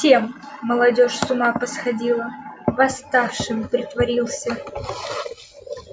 совсем молодёжь с ума посходила восставшим притворился